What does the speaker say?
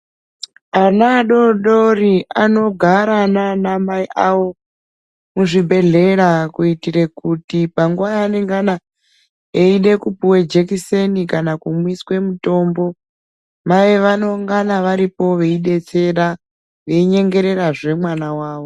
Ana adodori anogara nama mai avo muzvibhehlera kuitire kuti panguwa yangana eyida kupuwa jekiseni kana kumwiswa mutombo mai vanongana varipo veidetsera veinyengererazve mwana wavo.